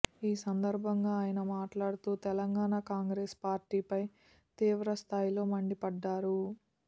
ఈ సందర్భాంగా ఆయన మాట్లాడుతూ తెలంగాణ కాంగ్రెస్ పార్టీ ఫై తీవ్ర స్థాయిలో మండిపడ్డారు